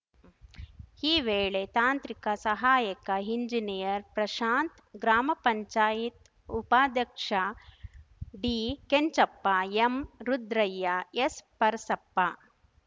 ಈ ವೇಳೆ ತಾಂತ್ರಿಕ ಸಹಾಯಕ ಎಂಜಿನಿಯರ್‌ ಪ್ರಶಾಂತ್ ಗ್ರಾಮ ಪಂಚಾಯತ್ ಉಪಾದ್ಯಕ್ಷ ಡಿಕೆಂಚಪ್ಪ ಎಂರುದ್ರಯ್ಯ ಎಸ್‌ಪರಸಪ್ಪ